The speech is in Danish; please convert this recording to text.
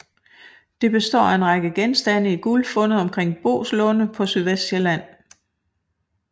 Det består af en række genstande i guld fundet omkring Boeslunde på Sydvestsjælland